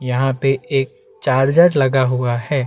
यहाँ पे एक चार्जर लगा हुआ है।